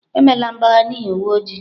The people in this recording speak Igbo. Emela mgbagha n'ihi uwe ojii!